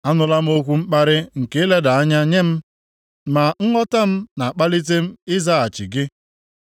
Anụla m okwu mkparị nke ileda anya nye m, ma nghọta m na-akpalịte m ịzaghachi gị.